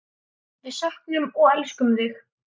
Við söknum og elskum þig.